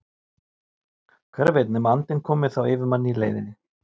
hver veit nema andinn komi þá yfir mann í leiðinni!